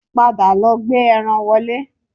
Padà lọ gbé ẹran wọlé